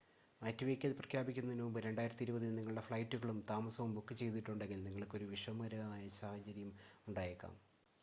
മാറ്റിവയ്ക്കൽ പ്രഖ്യാപിക്കുന്നതിനുമുമ്പ് 2020-ൽ നിങ്ങളുടെ ഫ്ലൈറ്റുകളും താമസവും ബുക്ക് ചെയ്തിട്ടുണ്ടെങ്കിൽ നിങ്ങൾക്ക് ഒരു വിഷമകരമായ സാഹചര്യം ഉണ്ടായേക്കാം